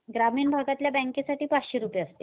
ग्रामीण भागातल्या बँकेसाठी पाचशे रुपये असते.